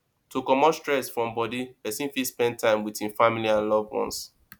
to comot stress from body person fit spend time with im family and loved ones